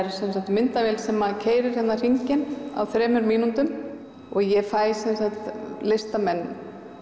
myndavél sem keyrir hringinn á þremur mínútum og ég fæ listamenn